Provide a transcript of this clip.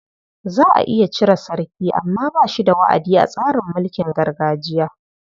Za a iya cire sarki amma ba shi da wa'adi a tsarin mulkin gargajiya.